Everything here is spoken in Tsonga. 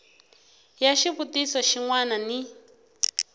ya xivutiso xin wana ni